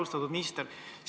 Austatud minister!